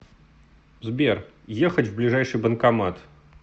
сбер ехать в ближайший банкомат